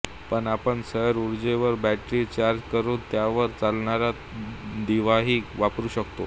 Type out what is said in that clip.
पण आपण सौर ऊर्जेवर बॅटरी चार्ज करून त्यावर चालणारा दिवाही वापरू शकतो